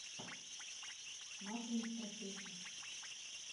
машины страшилки